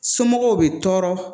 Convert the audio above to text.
Somɔgɔw bi tɔɔrɔ